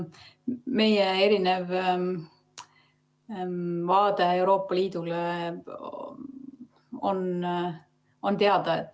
Meie erinev vaade Euroopa Liidule on teada.